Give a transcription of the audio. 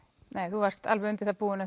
þú varst alveg undir það búin